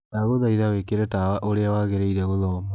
Ndagũthaĩtha wĩkĩre tawa ũrĩa wagĩrĩĩre gũthoma